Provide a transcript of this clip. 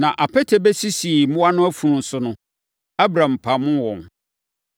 Na apete bɛsisii mmoa no afunu so no, Abram pamoo wɔn.